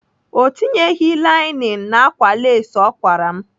Ọ tinyeghị lainin n'ákwà lesị ọ kwara m